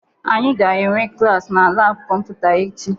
Anyị ga-enwe klaasị na laabụ kọmputa echi